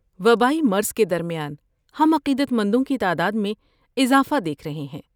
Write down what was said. وبائی مرض کے درمیان، ہم عقیدت مندوں کی تعداد میں اضافہ دیکھ رہے ہیں۔